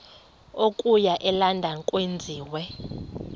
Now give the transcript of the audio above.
okuya elondon enziwe